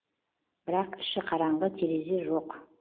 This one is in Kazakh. бірақ іші қараңғы терезе жоқ